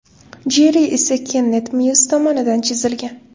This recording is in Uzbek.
Jerri esa Kennet Myus tomonidan chizilgan.